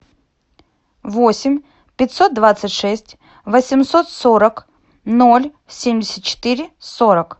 восемь пятьсот двадцать шесть восемьсот сорок ноль семьдесят четыре сорок